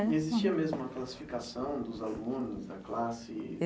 Existia mesmo a classificação dos alunos da classe?